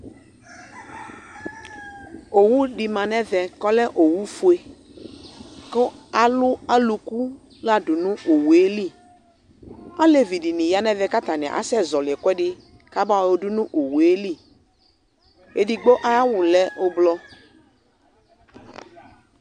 Owu dɩ ma nʋ ɛvɛ kʋ ɔlɛ owufue kʋ alʋ alʋku la dʋ nʋ owu yɛ li Alevi dɩnɩ ya nʋ ɛvɛ kʋ atanɩ asɛzɔɣɔlɩ ɛkʋɛdɩ kabayɔ yɔdʋ nʋ owu yɛ li Edigbo ayʋ awʋ lɛ ʋblɔ